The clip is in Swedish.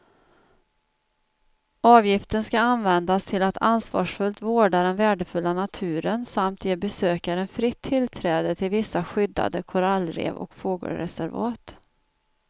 Avgiften ska användas till att ansvarsfullt vårda den värdefulla naturen samt ge besökaren fritt tillträde till vissa skyddade korallrev och fågelreservat.